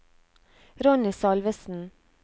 Ronny Salvesen